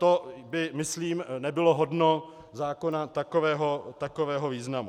To by, myslím, nebylo hodno zákona takového významu.